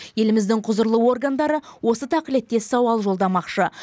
еліміздің құзырлы органдары осы тақілеттес сауал жолдамақшы